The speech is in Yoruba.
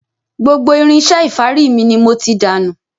Gbogbo irinṣẹ́ ìfárí mi ni mo ti dànù.